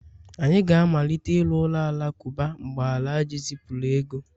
anyị ga-amalite ịrụ ụlọ alakụba, mgbe Alhaji zipụrụ ego